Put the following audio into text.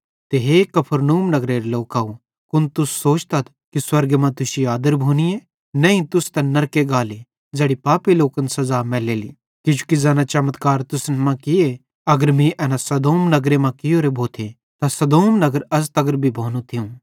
ते हे कफरनहूम नगरेरे लोकव कुन तुस सोचतथ कि स्वर्गे मां तुश्शी आदर भोनीए नईं तुस त नरके गाले ज़ैड़ी पापी लोकन सज़ा मैलेली किजोकि ज़ैना चमत्कार तुसन मां किये अगर मीं एना सदोम नगरे मां कियोरे भोथे त सदोम नगर अज़ तगर भी भोनू थियूं